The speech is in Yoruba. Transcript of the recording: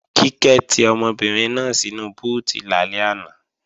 Kíkẹ́ ti ọmọbìnrin náà sínu búùtì lálẹ́ àná